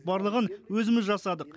барлығын өзіміз жасадық